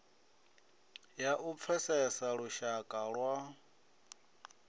ya u pfesesa lushaka lwa